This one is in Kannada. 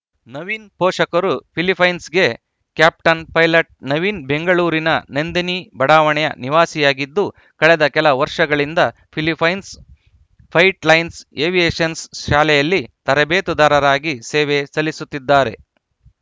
ನವೀನ್‌ ಪೋಷಕರು ಫಿಲಿಪ್ಪೀನ್ಸ್‌ಗೆ ಕ್ಯಾಪ್ಟನ್‌ ಪೈಲಟ್‌ ನವೀನ್‌ ಬೆಂಗಳೂರಿನ ನಂದಿನಿ ಬಡಾವಣೆಯ ನಿವಾಸಿಯಾಗಿದ್ದು ಕಳೆದ ಕೆಲ ವರ್ಷಗಳಿಂದ ಫಿಲಿಪ್ಪೀನ್ಸ್‌ನ ಫ್ಲೈಟ್‌ಲೈನ್ಸ್ ಏವಿಯೇಷನ್ಸ್ ಶಾಲೆಯಲ್ಲಿ ತರಬೇತುದಾರರಾಗಿ ಸೇವೆ ಸಲ್ಲಿಸುತ್ತಿದ್ದಾರೆ